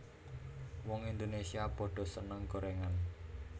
Wong Indonesia podo seneng gorengan